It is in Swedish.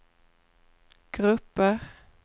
grupper